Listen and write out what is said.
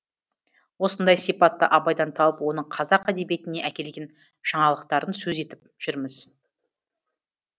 осындай сипатты абайдан тауып оның қазақ әдебиетіне әкелген жаңалықтарын сөз етіп жүрміз